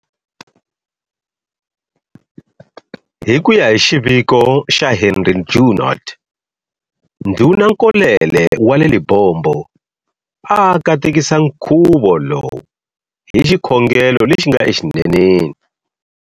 Hi kuya hi xiviko xa Henri Junod, Ndhuna Nkolele wa le Libombo a a katekisa nkuvo lowu hi xikhongelo lexi nga e xineneni.